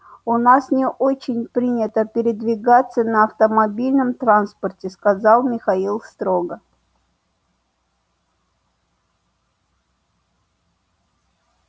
у нас не очень принято передвигаться на автомобильном транспорте сказал михаил строго